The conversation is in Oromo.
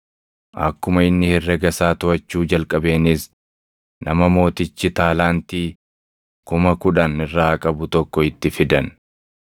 Akkuma inni herrega isaa toʼachuu jalqabeenis nama mootichi taalaantii kuma kudhan irraa qabu tokko itti fidan.